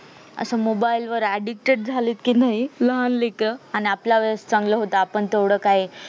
असं mobile वर addicted जाले कि नाही लहान लेकरं आणि आपल्या वेडेस चांगलं होत आपण तेवढ काय